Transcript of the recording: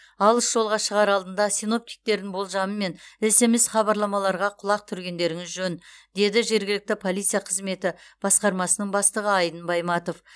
алыс жолға шығар алдында синоптиктердің болжамы мен смс хабарламаларға құлақ түргендеріңіз жөн деді жергілікті полиция қызметі басқармасының бастығы айдын байматов